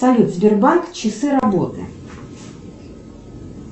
салют сбербанк часы работы